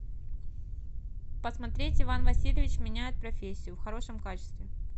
посмотреть иван васильевич меняет профессию в хорошем качестве